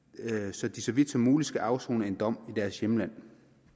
så de så vidt muligt skal afsone en dom i deres hjemland